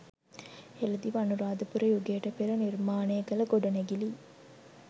හෙලදිව අනුරාධපුර යුගයට පෙර නිර්මානය කල ගොඩනැගිලි